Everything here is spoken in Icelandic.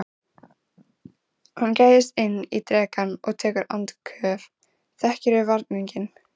Hann gægist inn í drekann og tekur andköf, þekkir varninginn.